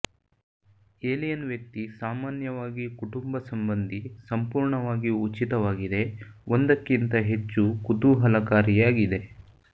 alien ವ್ಯಕ್ತಿ ಸಾಮಾನ್ಯವಾಗಿ ಕುಟುಂಬ ಸಂಬಂಧಿ ಸಂಪೂರ್ಣವಾಗಿ ಉಚಿತವಾಗಿದೆ ಒಂದಕ್ಕಿಂದ ಹೆಚ್ಚು ಕುತೂಹಲಕಾರಿಯಾಗಿದೆ